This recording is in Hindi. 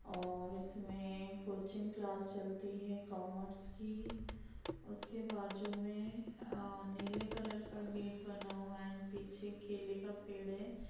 और इसमें कोचिंग क्लास चलती है। कॉमर्स की उसके बाजु में अ नीले कलर का गेट बना हुआ है एंड पीछे केले का पेड़ है।